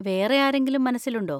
വേറെ ആരെങ്കിലും മനസ്സിലുണ്ടോ?